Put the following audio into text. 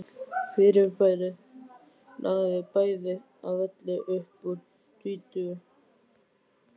Fyrirbærið lagði bæði að velli upp úr tvítugu.